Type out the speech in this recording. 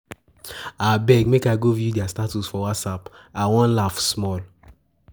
Abeg make I go view their Status for WhatsApp, I wan laugh small.